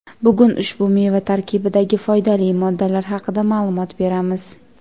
Bugun ushbu meva tarkibidagi foydali moddalar haqida ma’lumot beramiz.